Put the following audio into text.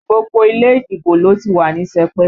Gbogbo ilé ìdìbò ló ti wà ní sẹpẹ̀